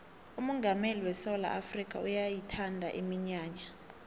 umongameli wesewula afrikha uyayithanda iminyanya